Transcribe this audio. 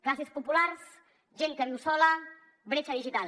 classes populars gent que viu sola bretxa digital